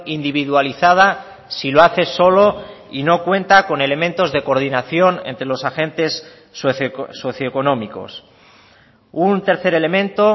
individualizada si lo hace solo y no cuenta con elementos de coordinación entre los agentes socioeconómicos un tercer elemento